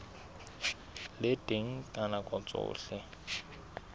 le teng ka nako tsohle